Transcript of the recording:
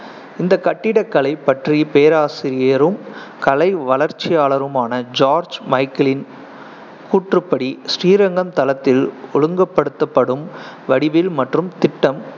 இந்த கட்டிடக்கலை பற்றிய பேராசிரியரும் கலை வளர்ச்சியாளருமான ஜார்ஜ் மைக்கேலின் கூற்றுப்படி, ஸ்ரீரங்கம் தளத்தில் ஒழுங்குபடுத்தப்படும் வடிவில் மற்றும் திட்டம்